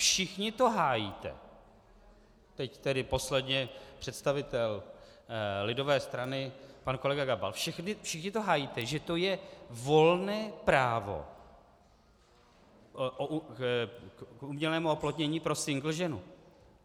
Všichni to hájíte - teď tedy posledně představitel lidové strany pan kolega Gabal - všichni to hájíte, že to je volné právo k umělému oplodnění pro single ženu.